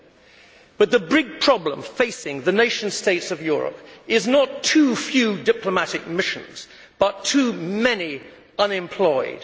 However, the big problem facing the nation states of Europe is not too few diplomatic missions but too many unemployed.